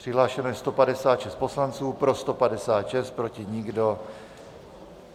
Přihlášeno je 156 poslanců, pro 156, proti nikdo.